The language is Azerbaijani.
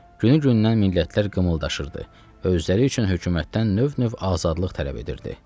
Günü-gündən millətlər qımıldaşırdı və özləri üçün hökumətdən növ-növ azadlıq tələb edirdi.